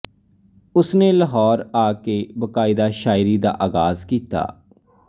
ਉਸ ਨੇ ਲਾਹੌਰ ਆ ਕੇ ਬਾਕਾਇਦਾ ਸ਼ਾਇਰੀ ਦਾ ਆਗ਼ਾਜ਼ ਕੀਤਾ